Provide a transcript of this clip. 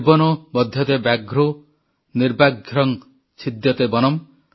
ନିର୍ବନୋ ବଧ୍ୟତେ ବ୍ୟାଘ୍ରୋ ନିର୍ବ୍ୟାଘ୍ରଂ ଚ୍ଛିଦ୍ୟତେ ବନମ୍